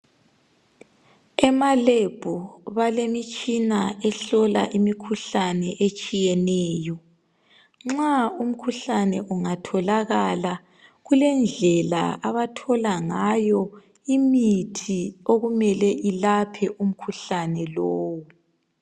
Ema lab balemitshina ehlola imikhuhlane etshiyeneyo nxa umkhuhlane ungatholakala kulendlela abathola ngayo imithi okumele ilaphe umkhuhlane lowo.